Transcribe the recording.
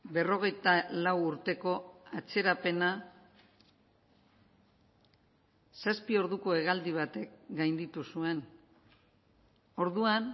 berrogeita lau urteko atzerapena zazpi orduko hegaldi batek gainditu zuen orduan